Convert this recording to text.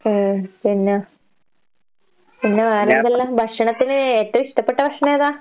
ഏഹ് പിന്നാ പിന്ന വേറെന്തെല്ലാ? ഭക്ഷണത്തിന് ഏറ്റോ ഇഷ്ടപ്പെട്ട ഭക്ഷണേതാ?